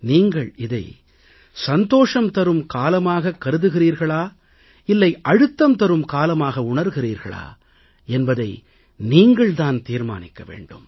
நீங்கள் இதை சந்தோஷம் தரும் காலமாகக் கருதுகிறீர்களா இல்லை அழுத்தம் தரும் காலமாக உணர்கிறீர்களா என்பதை நீங்கள் தான் தீர்மானிக்க வேண்டும்